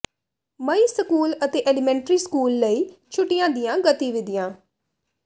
ਮਈ school ਅਤੇ elementary school ਲਈ ਛੁੱਟੀਆਂ ਦੀਆਂ ਗਤੀਵਿਧੀਆਂ